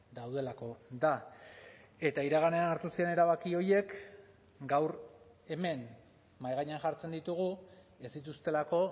daudelako da eta iraganean hartu ziren erabaki horiek gaur hemen mahai gainean jartzen ditugu ez dituztelako